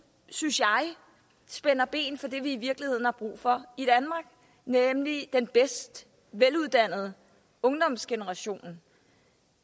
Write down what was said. synes jeg spænder ben for det vi i virkeligheden har brug for i danmark nemlig den bedst uddannede ungdomsgeneration